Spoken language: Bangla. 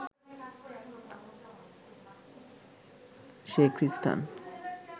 সে খ্রিস্টান